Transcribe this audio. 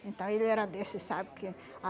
Então, ele era desse, sabe, que